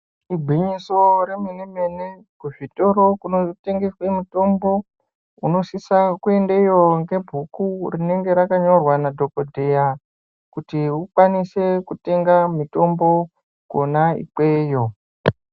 Igwinyiso remene mene kuzvitoro zvinotengese mitombo unosise kuendeyo ngebhuku rinenge rakanyorwa nadhokodheya kuti ukwanise kutenga mitombo kona ikweyo.